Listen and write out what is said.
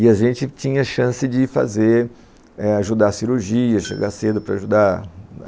E a gente tinha chance de fazer, ajudar a cirurgia, chegar cedo para ajudar.